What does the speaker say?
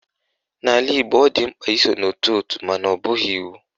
N'ala Igbo, ọ dị mkpa iso n'ótù òtù mana ọ bụghị iwu